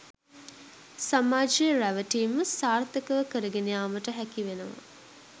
සමාජය රැවටීම සාර්ථකව කරගෙන යාමට හැකිවෙනවා.